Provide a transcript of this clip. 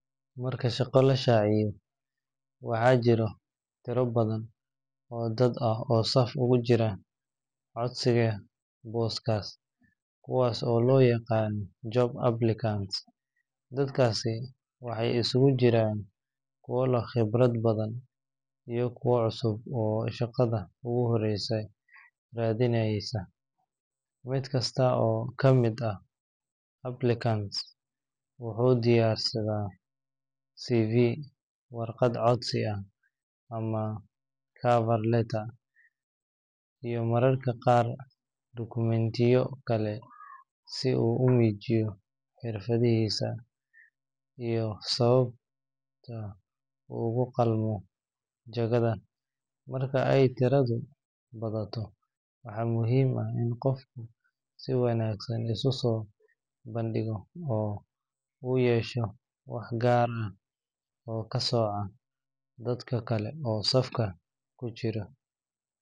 Marka shaqo la shaaciyo, waxaa jira tiro badan oo dad ah oo saf ugu jira codsiga booskaas, kuwaas oo loo yaqaan job applicants. Dadkaasi waxay isugu jiraan kuwo leh khibrad badan iyo kuwo cusub oo shaqada ugu horreysa raadineysa. Mid kasta oo ka mid ah applicants wuxuu diyaarisaa CV, warqad codsi ama cover letter, iyo mararka qaar dukumentiyo kale si uu u muujiyo xirfadiisa iyo sababta uu ugu qalmo jagada. Marka ay tiradu badato, waxaa muhiim ah in qofku si wanaagsan isu soo bandhigo oo uu yeesho wax gaar ah oo ka sooca dadka kale ee safka ku jira.